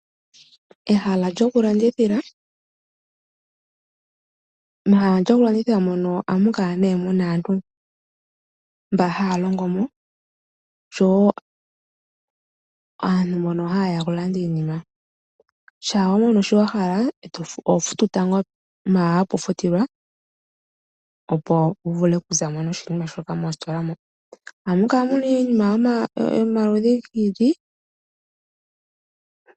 Mehala lyokulandithila ohamu kala muna aantu mbono haya longo mo oshowo aantu mbono haye ya okulanda iinima. Ngele wa mono shi wa hala , oho futu tango mpa hapu futilwa , opo wu vule okuza mo noshinima shoka. Ohamu kala mu na iinima yomaludhi gi ili nogi ili.